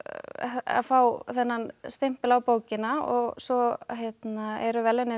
að fá þennan stimpil á bókina og svo eru verðlaunin